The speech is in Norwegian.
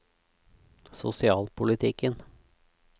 sosialpolitikken